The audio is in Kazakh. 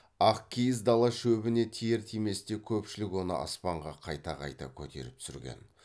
ақ киіз дала шөбіне тиер тиместе көпшілік оны аспанға қайта қайта көтеріп түсірген